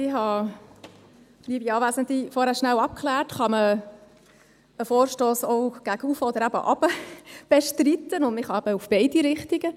Ich habe, liebe Anwesende, vorhin kurz abgeklärt, ob man den Vorstoss gegen oben und gegen unten bestreiten kann, und man kann es eben in beide Richtungen.